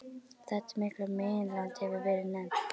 Þetta mikla meginland hefur verið nefnt